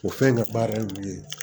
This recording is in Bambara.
O fɛn in ka baara ye mun ye